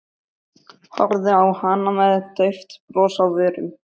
Horfði á hana með dauft bros á vörunum.